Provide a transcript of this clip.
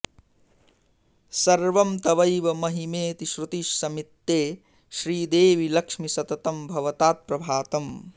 सर्वं तवैव महिमेति श्रुति समित्ते श्रीदेवि लक्ष्मि सततं भवतात् प्रभातम्